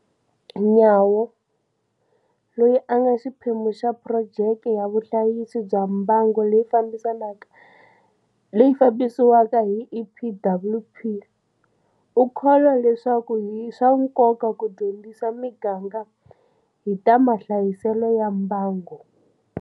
Nyawo, loyi a nga xiphemu xa phurojeke ya vuhlayisi bya mbango leyi fambisiwaka hi EPWP u kholwa leswaku i swa nkoka ku dyondzisa miganga hi ta mahlayiselo ya mbango.